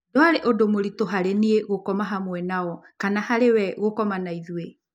Ndwarĩ ũndũ mũritũ harĩ niĩ gũkoma hamwe nao kana harĩ we gũkoma hamwe na ithuĩ.